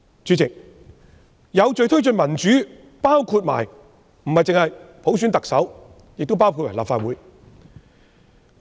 主席，有序推進民主不單適用於特首普選，同時亦涵蓋立法會普選。